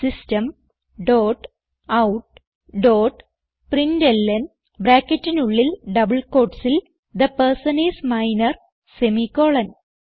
system dot out dot println ബ്രാക്കറ്റിനുള്ളിൽ double quotesൽ the person is minor semi colon